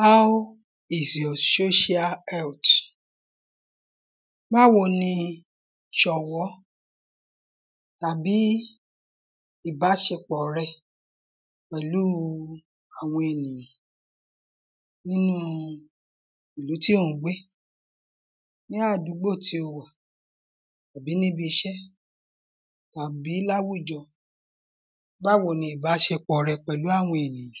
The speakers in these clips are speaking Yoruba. How is your social health? Báwo ni ṣọ̀wọ́ tàbí ìbáṣepọ̀ rẹ pẹ̀lú àwọn ènìyàn nínú ìlú tí ò ń gbé ní àdúgbò tí o wà àbí níbiṣé tàbí láwùjọ Báwo ni ìbáṣepọ̀ rẹ pẹ̀lú àwọn èyàn?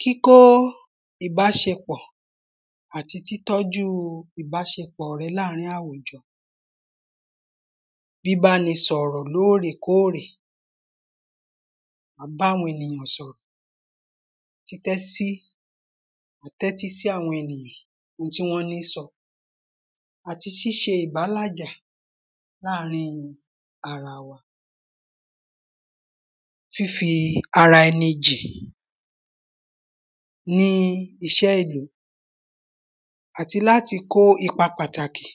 Kíkó ìbáṣepọ̀ àti títọ́jú ìbáṣepọ̀ rẹ láàrin àwùjọ bíbáni sọ̀rọ̀ lóɹèkóɹè báwo ni títẹ́ sí tẹ́tí sí àwọn ènìyàn ohun tí wọ́n ń sọ àti ṣíṣe ìbálàjà láàrin ara wa. Fífi ara ẹni jì ní iṣẹ́ ìlú àti láti kó ipa pàtàkì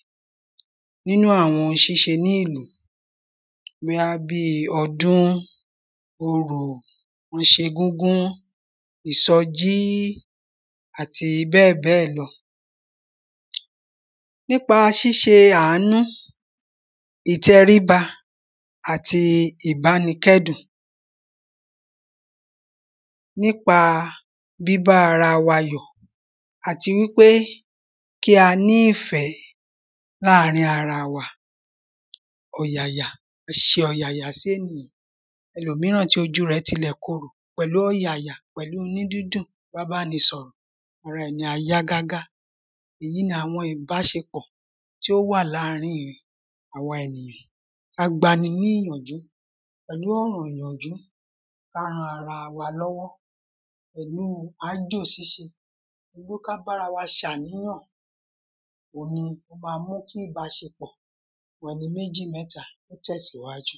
nínú àwọn ṣíṣe ní ìlú bóyá bí ọdún orò bó ṣegúngún ìsọjí àti bẹ́ẹ̀ bẹ́ẹ̀ lọ. Nípa ṣíṣ̣e àánú ìtẹríba àti ìbánikẹ́dùn. Nípa bíbá ara wa yọ̀ àti wípé kí a ní ìfẹ́ láàrin ara wa ọ̀yàyà ìṣe ọ̀yàyà sénìyàn ẹlòmíràn tí ojú rẹ̀ tilẹ̀ korò pẹ̀lú ọ̀yàyà pẹ̀lú inú dídùn tí a bá le sọ̀rọ̀ ara ẹni yẹn á yá gágá èyí ni àwọn ìbáṣepọ̀ tí ó wà láàrin àwa ènìyàn ká gbani ní ìyànjú pẹ̀lú ọ̀rọ̀ ìyànjú ká ran ara wa lọ́wọ́ pẹ̀lú áájò ṣíṣe. Ẹ jẹ́ ká bára wa ṣàníyàn oun ni bá mú kíbàṣepọ̀ pẹ̀lú méjì mẹ́ta kó tẹ̀síwájú.